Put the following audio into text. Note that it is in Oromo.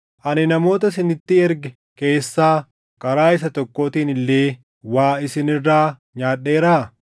Ani namoota isinitti erge keessaa karaa isa tokkootiin illee waa isin irraa nyaadheeraa?